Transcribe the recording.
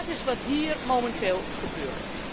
Dat is wat hier momenteel gebeurt.